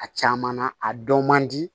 A caman na a dɔn man di